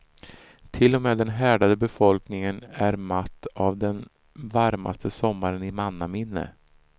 Till och med den härdade befolkningen är matt av den varmaste sommaren i mannaminne.